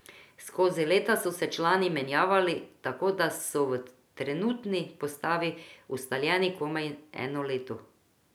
Skozi leta so se člani menjavali, tako da so v trenutni postavi ustaljeni komaj eno leto.